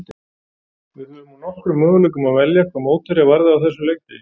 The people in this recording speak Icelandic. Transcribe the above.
Við höfðum úr nokkrum möguleikum að velja hvað mótherja varðaði á þessum leikdegi.